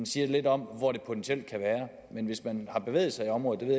siger lidt om hvor det potentielt kan være men hvis man har bevæget sig i området det